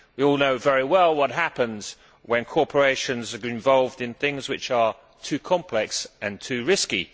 We all know very well what happens when corporations are involved in things which are too complex and too risky.